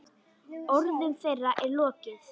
Orðum þeirra er lokið.